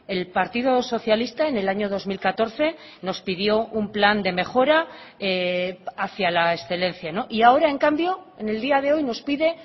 el partido socialista en el año dos mil catorce nos pidió un plan de mejora hacia la excelencia y ahora en cambio en el día de hoy nos pide